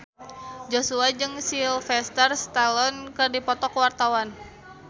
Joshua jeung Sylvester Stallone keur dipoto ku wartawan